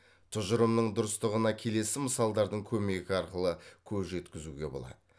тұжырымның дұрыстығына келесі мысалдардың көмегі арқылы көз жеткізуге болады